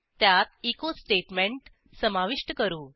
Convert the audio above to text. त्यात एचो स्टेटमेंट समाविष्ट करू